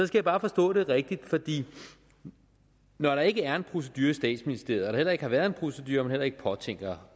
skal bare forstå det rigtigt når der ikke er en procedure i statsministeriet og heller ikke har været en procedure og man heller ikke påtænker